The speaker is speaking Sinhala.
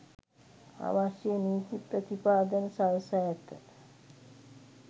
අවශ්‍ය නීති ප්‍රතිපාදන සලසා ඇත